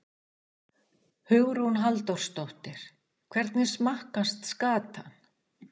Hugrún Halldórsdóttir: Hvernig smakkast skatan?